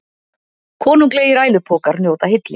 Konunglegir ælupokar njóta hylli